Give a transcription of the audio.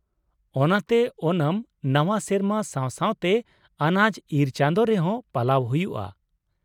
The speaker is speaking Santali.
ᱚᱱᱟᱛᱮ ᱳᱱᱟᱢ ᱱᱟᱶᱟ ᱥᱮᱨᱢᱟ ᱥᱟᱶ ᱥᱟᱶᱛᱮ ᱟᱱᱟᱡ ᱤᱨ ᱪᱟᱸᱫᱳ ᱨᱮᱦᱚᱸ ᱯᱟᱞᱟᱣ ᱦᱩᱭᱩᱜᱼᱟ ᱾